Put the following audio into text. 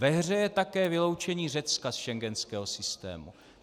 Ve hře je také vyloučení Řecka z schengenského systému.